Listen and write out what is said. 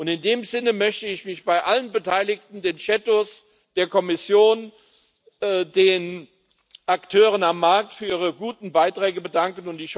In diesem Sinne möchte ich mich bei allen Beteiligten den Schattenberichterstattern, der Kommission, den Akteuren am Markt für ihre guten Beiträge bedanken.